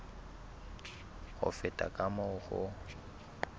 ho feta ka moo ho